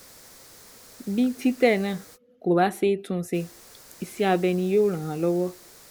Bí títẹ̀ náà kò bá ṣeé tún ṣe, iṣẹ́ abẹ ni yóò ràn án lọ́wọ́